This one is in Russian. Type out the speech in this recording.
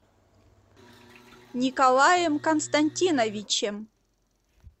николаем константиновичем